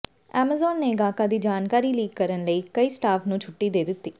Amazon ਨੇ ਗਾਹਕਾਂ ਦੀ ਜਾਣਕਾਰੀ ਲੀਕ ਕਰਨ ਲਈ ਕਈ ਸਟਾਫ ਨੂੰ ਛੁੱਟੀ ਦੇ ਦਿੱਤੀ